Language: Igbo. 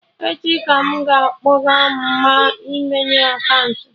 Echi ka m ga-akpọga Mma imeye akaụntụ